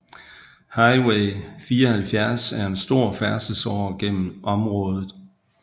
Highway 74 er en stor færdselsåre gennem området